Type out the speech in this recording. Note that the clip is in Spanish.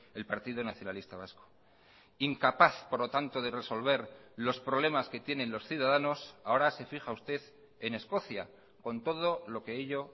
el partido nacionalista vasco incapaz por lo tanto de resolver los problemas que tienen los ciudadanos ahora se fija usted en escocia con todo lo que ello